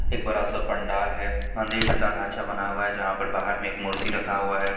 एक बड़ा-सा पंडाल है मंदिर जैसा ढांचा बनाया हुआ है जहां पर बाहर में एक मूर्ति रखा हुआ है।